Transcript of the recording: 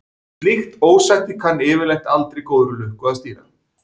Slíkt ósætti kann yfirleitt aldrei góðri lukka að stýra.